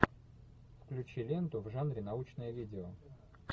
включи ленту в жанре научное видео